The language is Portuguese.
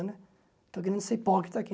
Estou querendo ser hipócrita aqui.